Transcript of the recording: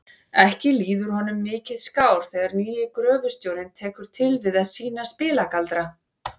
Ekki líður honum mikið skár þegar nýi gröfustjórinn tekur til við að sýna spilagaldra.